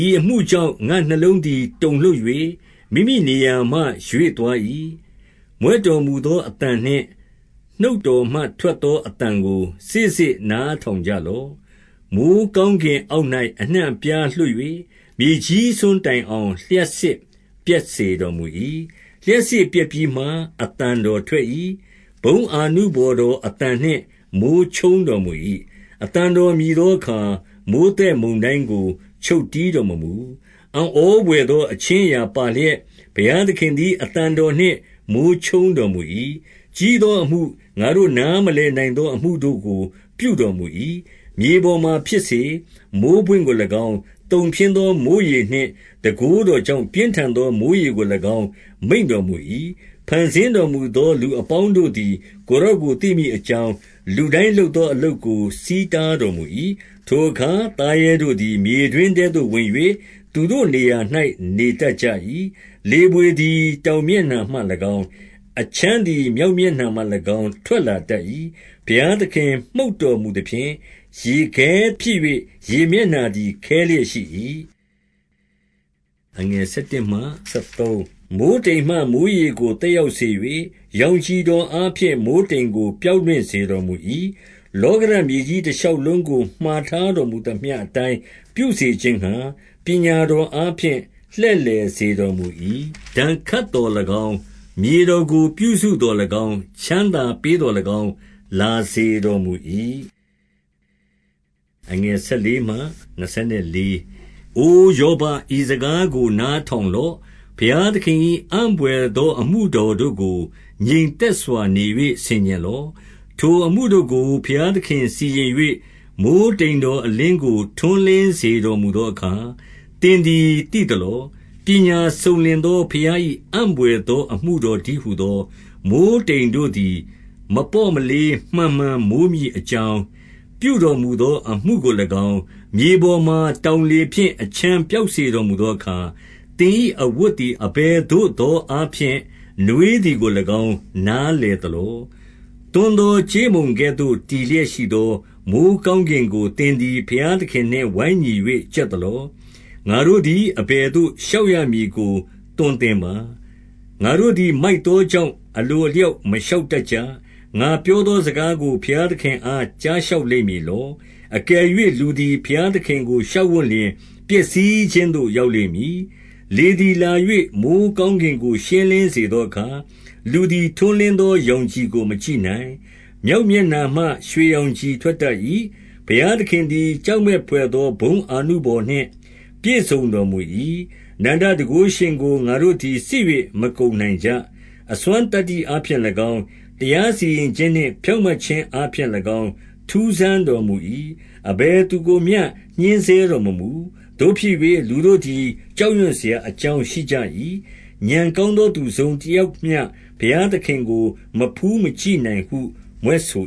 ဤအမှုကြောင့် ငါ့နှလုံးသည် တုန်လှုပ်၍ မိမိ နေရာမှ ရွေ့သွား၏။ 2 မြွက်တော်မူသောအသံနှင့် နှုတ်တော်မှထွက် သောအသံကို စေ့စေ့နားထောင်ကြလော့။ 3 မိုဃ်းကောင်းကင်အောက်၌ အနှံ့အပြားလွှတ်၍၊ မြေကြီးစွန်းတိုင်အောင် လျှပ်စစ်ပြက်စေတော်မူ၏။ 4 လျှပ်စစ်ပြက်ပြီးမှ အသံတော်ထွက်၏။ ဘုန်းအာနုဘော်တော်အသံနှင့်မိုဃ်းချုန်းတော်မူ၏။ အသံ တော်မြည်သောအခါ မိုဃ်းသက်မုန်တိုင်းကို ချုပ်တည်း တော်မမူ။ 5 အံ့ဩဘွယ်သော အခြင်းအရာပါလျက်၊ ဘုရားသခင်သည် အသံတော်နှင့်မိုဃ်းချုန်းတော်မူ၏။ ကြီး သောအမှု ငါတို့နားမလည်နိုင်သော အမှုတို့ကို ပြုတော်မူ၏။ 6 မြေပေါ်မှာဖြစ်စေဟု မိုဃ်းပွင့်ကို၎င်း၊ သုန်ဖျင်းသောမိုဃ်းရေနှင့် တန်ခိုးတော်ကြောင့် ပြင်းထန်သော မိုဃ်းရေ ကို၎င်း မိန့်တော်မူ၏။ 7 ဖန်ဆင်းတော်မူသော လူအပေါင်းတို့သည် ကိုယ်တော်ကို သိမည်အကြောင်း လူတိုင်းလုပ်သော အလုပ်ကို ဆီးတားတော်မူ၏။ 8 ထိုအခါသားရဲတို့သည် မြေတွင်းထဲသို့ဝင်၍၊ သူတို့နေရာ၌ နေတတ်ကြ၏။ 9 လေဘွေသည် တောင်မျက်နှာမှ၎င်း၊ အချမ်း သည် မြောက်မျက်နှာမှ၎င်း ထွက်လာတတ်၏။ 10 ဘုရားသခင်မှုတ်တော်မူသဖြင့်၊ ရေခဲဖြစ်၍ ရေမျက်နှာသည် ခဲလျက်ရှိ၏။ 11 မိုဃ်းတိမ်မှမိုဃ်းရေကို သက်ရောက်စေ၍၊ ရောင်ခြည်တော်အားဖြင့် မိုဃ်းတိမ်ကို ပျောက်လွင့် စေတော်မူ၏။ 12 လောကဓာတ်မြေကြီးတရှောက်လုံးကို မှာထား တော်မူသမျှအတိုင်း ပြုစေခြင်းငှါ ပညာတော်အားဖြင့် လှည့်လည်စေတော်မူ၏။ 13 ဒဏ်ခတ်သော်၎င်း၊ မြေတော် ကိုပြုစုသော်၎င်း၊ ချမ်းသာပေးသော်၎င်း လာစေတော် မူ၏။ 14 အိုယောဘ၊ ဤစကားကိုနားထောင်လော့။ ဘုရားသခင်၏ အံ့ဘွယ်သောအမှုတော်တို့ကို ငြိမ်သက် စွာနေ၍ ဆင်ခြင်လော့။ 15 ထိုအမှုတို့ကို ဘုရားသခင်စီရင်၍၊ မိုဃ်းတိမ်တော်အလင်းကို ထွန်းလင်းစေတော်မူသောအခါ၊ သင်သည် သိသလော။ 16 ပညာစုံလင်သောဘုရား၏ အံ့ဘွယ်သောအမှုတော်တည်းဟူသော မိုဃ်းတိမ်တို့သည် မပေါ့မလေး မှန်မှန်မိုးမည်အကြောင်း၊ ပြုတော်မူသောအမှုကို၎င်း၊ 17 မြေပေါ်မှာ တောင်လေဖြင့်အချမ်းပျောက်စေ တော်မူသောအခါ၊ သင်၏အဝတ်သည် အဘယ်သို့သော အားဖြင့် နွေးသည်ကို၎င်း နားလည်သလော။ 18 သွန်းသော ကြေးမုံကဲ့သို့ တည်လျက်ရှိသော မိုဃ်းကောင်းကင်ကို သင်သည် ဘုရားသခင်နှင့် ဝိုင်းညီ၍ ကြက်သလော။ 19 ငါတို့သည် အဘယ်သို့လျှောက်ရမည်ကို သွန်သင်ပါ။ ငါတို့သည် မိုက်သောကြောင့်၊ အလိုအလျောက် မလျှောက်တတ်ကြ။ 20 ငါပြောသော စကားကို ဘုရားသခင်အား ကြားလျှောက်လိမ့်မည်လော။ အကယ်၍ လူသည် ဘုရားသခင်ကို လျှောက်ဝံ့လျှင် ပျက်စီးခြင်းသို့ ရောက် လိမ့်မည်။ 21 လေသည် လာ၍မိုဃ်းကောင်းကင်ကို ရှင်းလင်းစေသောအခါ၊ လူသည် ထွန်းလင်းသောရောင်ခြည်ကို မကြည့်နိုင်။ 22 မြောက်မျက်နှာမှ ရွှေရောင်ခြည်ထွက်တတ်၏။ ဘုရားသခင်သည် ကြောက်မက်ဘွယ်သော ဘုန်းအာနု ဘော်နှင့် ပြည့်စုံတော်မူ၏။ 23 အနန္တတန်ခိုးရှင်ကို ငါတို့သည် စစ်၍မကုန်နိုင်ကြ။ အစွမ်းသတ္တိအားဖြင့်၎င်း၊ တရားစီရင်ခြင်းနှင့် ဖြောင့်မတ်ခြင်းအားဖြင့်၎င်း ထူးဆန်းတော်မူ၏။ အဘယ် သူကိုမျှ ညှဉ်းဆဲတော်မမူ။ 24 သို့ဖြစ်၍လူတို့သည် ကြောက်ရွံ့စရာအကြောင်းရှိကြ၏။ ဥာဏ်ကောင်းသောသူ တစုံတယောက်မျှ ဘုရားသခင်ကို မဖူးမကြည့်နိုင်ဟု မြွက်ဆို